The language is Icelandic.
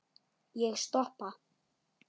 Ég stoppa.